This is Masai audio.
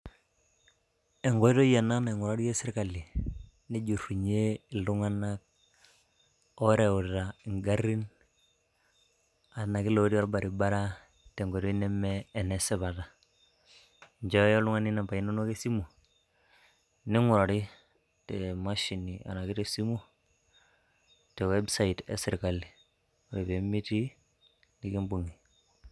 enkoitoi ena naing`urarie sirkali nejurrunyie iltung`anak oorewuta ngarrin enake lotii olbaribara tenkoitoi neme enesipata, nchooyo oltung`ani nambai inonok esimu neing`urari temashini enake tesimu te website e sirkal ore pee mitii nikimbung`i.